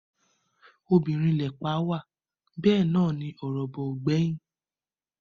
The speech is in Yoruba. Obìnrin lẹ̀pa wà bẹ́ẹ̀ náà ni ọ̀rọ̀bọ̀ ò gbẹ́yìn